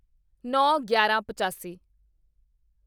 ਨੌਂਗਿਆਰਾਂਪਚਾਸੀ